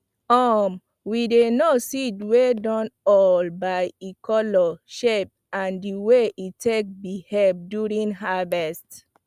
um we dey know seed wey dun old by e color shape and the way e take behave during harvest